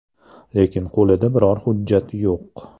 Lekin qo‘lida biror hujjati yo‘q.